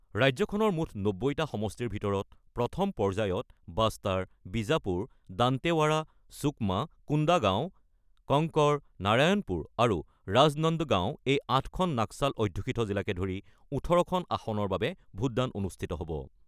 ৰাজ্যখনৰ মুঠ ৯০টা সমষ্টিৰ ভিতৰত প্ৰথম পৰ্যায়ত বাষ্টাৰ, বীজাপুৰ, দান্তেৱাৰা, সুকমা, কোন্দাগাঁও, কংকৰ, নাৰায়ণপুৰ আৰু ৰাজনন্দ গাঁও এই ৮খন নক্সাল অধ্যুষিত জিলাকে ধৰি ১৮ খন আসনৰ বাবে ভোটদান অনুষ্ঠিত হ'ব।